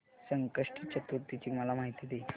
संकष्टी चतुर्थी ची मला माहिती दे